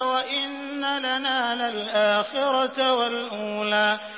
وَإِنَّ لَنَا لَلْآخِرَةَ وَالْأُولَىٰ